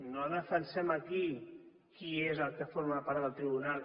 no defensem aquí qui és el que forma part del tribunal